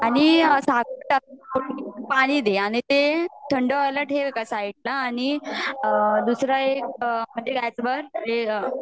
आणि साखर टाक आणि पाणी दे आणि ते थंड व्हाययल ठेव एका साइडला आणि दुसर्या एक